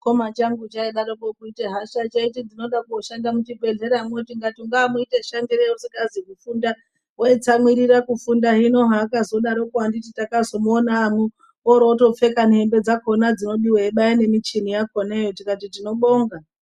Chikoma changu chaidaroko kuite hasha chaiti chode kunoshanda muzvibhedhleremwo tingati ungaamuita shandirei sei usingazi kufunda, waitsamwirira kufunda anditi ndakazomuona aamwo oroto pfeka nehembe dzakhona eibaya nemuchini yakhonayo tingati tinobonga